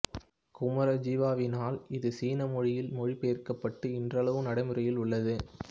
குமரஜீவாவினால் இது சீன மொழியில் மொழிபெயர்க்கப்பட்டு இன்றளவும் நடைமுறையில் உள்ளது